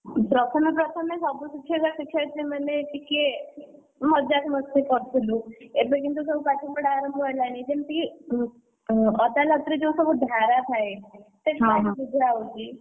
ପ୍ରଥମେ ପ୍ରଥମେ ସବୁ ଶିକ୍ଷକ ଶିକ୍ଷୟତ୍ରୀ ମାନେ ଟିକେ ମସ୍ତି କରୁଥିଲୁ ଏବେ କିନ୍ତୁସବୁ ପାଠପଢା ଆରମ୍ଭ ହେଲାଣି ଯେମିତି କି ଅଦାଲତରେ ଯୋଉ ସବୁ ଧାରା ଥାଏ, ସେ ସବୁ ହଁ ବୁଝା ହଉଛି।